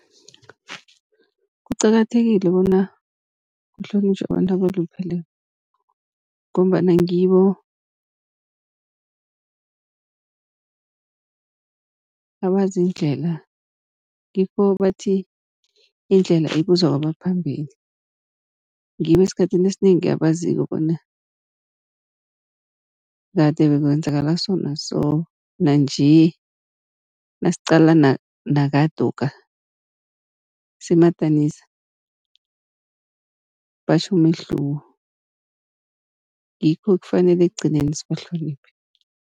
Kuqakathekile bona kuhlonitjhwe abantu abalupheleko, ngombana ngibo abazi indlela. Ngikho bathi indlela ibuzwa kabaphambili, ngibo esikhathini esinengi abaziko bona kade bekwenzakala so na so, nanje nasiqala nakadokha simadanisa batjho umehluko ngikho kufanele ekugcineni sibahloniphe.